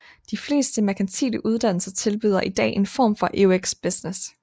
De fleste merkantile uddannelser tilbyder i dag en form for EUX Business